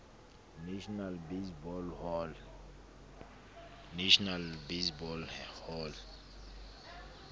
national baseball hall